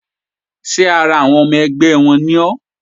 Ṣé ara ẹgbẹ́ wọn ni ọ́?